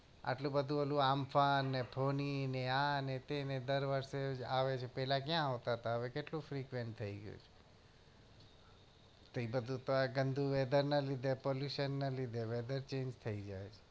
તો આટલું ઓલું આલ્ફા ને પ્રોની ને આ ને તે બધું આ વર્ષ આવે છે પેલા ક્યાં આવતા તા હવે કેટલું prepare થયી ગયું છે તો એ બધું ગંદુ weather ને લીધે pollution ને લીધે weather change થયી જાય છે